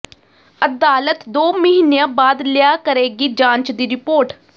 ਅਦਾਲਤ ਦੋ ਮਹੀਨਿਆਂ ਬਾਅਦ ਲਿਆ ਕਰੇਗੀ ਜਾਂਚ ਦੀ ਰਿਪੋਰਟ